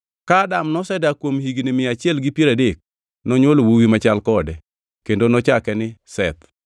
Ka Adam nosedak kuom higni mia achiel gi piero adek, nonywolo wuowi machal kode, kendo nochake ni Seth.